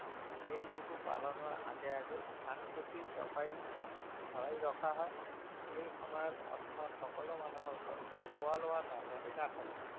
এই বিহু পালনৰ আগে আগে ধান খেতি ছপাই ভৰাই ৰখা হয়। এই বিহু সময়ত অসমৰ সকলো মানুহৰ ঘৰতে খোৱা লোৱাৰ নাটনি নাথাকে।